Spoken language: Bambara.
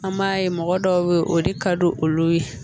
An b'a ye mɔgɔ dɔw bɛ yen o de ka di olu ye